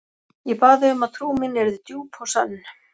Ég bað þig um að trú mín yrði djúp og sönn.